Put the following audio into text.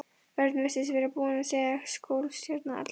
Örn virtist vera búinn að segja skólastjóra alla söguna.